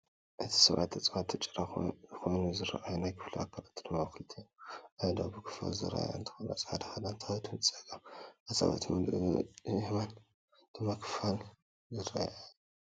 እቲ ሰብኣይ ተፃዋቲ ጭራ ኮይኑ ዝረኣይ ናይ ክፍሊ ኣካላቱ ድማ ክልቲአን አእዳው ብክፋል ዝረኣያ እንትኮና ፃዕዳ ክዳን ተኸዲኑ ፀጋም ኣፃብዕቱ ብሙሉእ የማን ድማ ብክፋል ዝረኣያ እየን፡፡